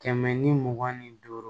Kɛmɛ ni mugan ni duuru